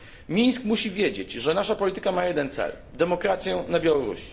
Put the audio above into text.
Mińsk musi wiedzieć, że nasza polityka ma jeden cel demokrację na Białorusi.